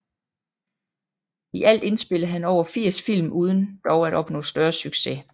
I alt indspillede han over 80 film uden dog at opnå større succes